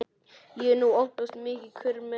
En nú upphófst mikill kurr meðal áheyrenda.